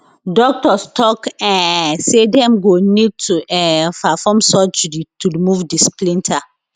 doctors tok um say dem go need to um perform surgery to remove di splinter